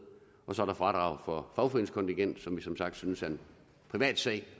så er der fradraget for fagforeningskontingentet som vi som sagt synes er en privatsag